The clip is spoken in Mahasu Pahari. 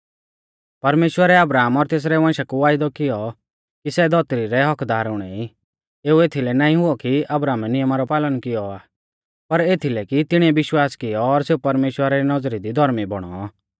परमेश्‍वरै अब्राहम और तेसरै वंशा कु वायदौ कियौ कि सै धौतरी रै हक्क्कदार हुणै ई एऊ एथलै नाईं हुऔ कि अब्राहमै नियमा रौ पालन कियौ आ पर एथीलै कि तिणीऐ विश्वास कियौ और सेऊ परमेश्‍वरा री नौज़री दी धौर्मी बौणौ